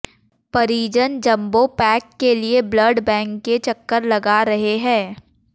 परिजन jumbo pack के लिए ब्लड बैंक के चक्कर लगा रहे हैं